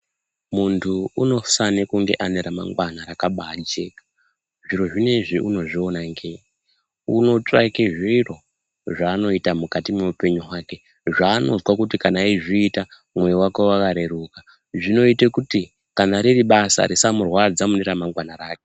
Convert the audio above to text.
Muntu unofane kunge ane remangwana rakabajeka, zviro zvinoizvi unozviona ngei. Unotsvake zviro zvaanoona mukati mweupenyu hake, zvanozwa kuti kana eizviita mwoyo vake vakareruka. Zvinote kuti kana riri basa risamurwadza mune ramangana rake.